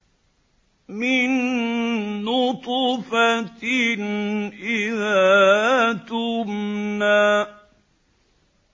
مِن نُّطْفَةٍ إِذَا تُمْنَىٰ